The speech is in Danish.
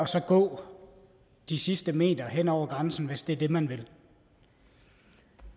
så gå de sidste meter hen over grænsen hvis det er det man vil